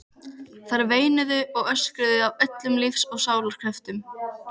Þær veinuðu og öskruðu af öllum lífs og sálar kröftum.